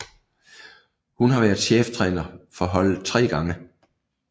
Hun har været cheftræner for holdet tre gange